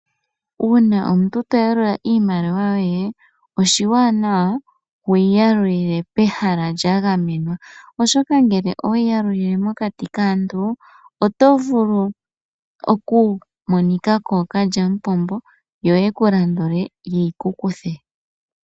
Uuna omuntu to yalula iimaliwa yoye, oshiwanawa wu yi yalulile pehala lya gamenwa, oshoka ngele owe yi yalulile mokati kaantu oto vulu oku monika kookalyamupombo, yo ye ku landule ye yi ku kuthe.